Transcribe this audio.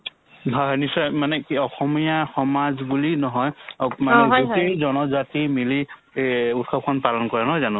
হয় হয় নিশ্চয় হয় মানে কি অসমীয়া সমাজ বুলি নহয় অক মানে গোটেই জনজাতি মিলি এই উৎসৱখন পালন কৰে নহয় জানো